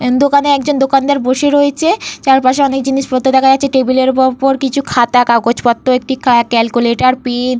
আ দোকানে একজন দোকানদার বসে রয়েছে। চারপাশে অনেক জিনিসপত্র দেখা যাচ্ছে। টেবিল এর ওপর একটি খাতা কাগজপত্র একটি ক্যালকুলেটর পেন --